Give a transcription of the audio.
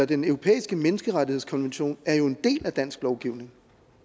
den europæiske menneskerettighedskonvention er jo en del af dansk lovgivning